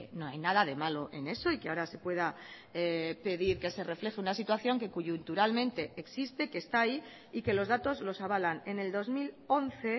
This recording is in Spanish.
no hay nada de malo en eso y que ahora se pueda pedir que se refleje una situación que coyunturalmente existe que está ahí y que los datos los avalan en el dos mil once